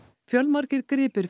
fjölmargir gripir